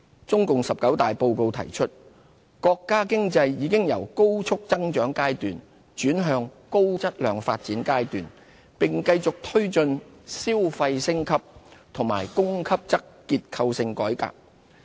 中共十九大報告提出，國家經濟已由高速增長階段轉向高質量發展階段，並繼續推進消費升級和供給側結構性改革。